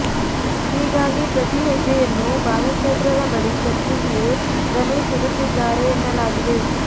ಹೀಗಾಗಿ ಪ್ರತಿ ಹೆಜ್ಜೆಯನ್ನೂ ಬಾಲಚಂದ್ರರ ಬಳಿ ಚರ್ಚಿಸಿಯೇ ರಮೇಶ್ ಇಡುತ್ತಿದ್ದಾರೆ ಎನ್ನಲಾಗಿದೆ